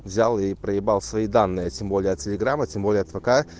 взял и проебал свои данные а тем более от телеграма тем более от вк